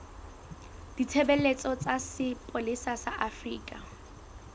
ditshebeletso tsa sepolesa sa afrika